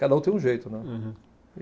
Cada um tem um jeito, né. Uhum.